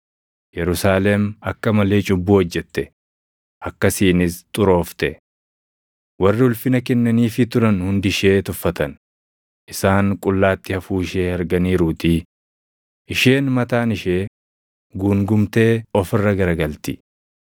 Yerusaalem akka malee cubbuu hojjette; akkasiinis xuroofte. Warri ulfina kennaniifii turan hundi ishee tuffatan; isaan qullaatti hafuu ishee arganiiruutii; isheen mataan ishee guungumtee of irra garagalti.